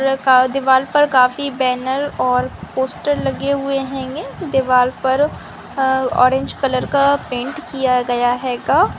--दीवाल पर काफी बैनर और पोस्टर लगे हुए हेनगें दीवाल पर ऑरेंज कलर का पैंट किया गया हैगा ।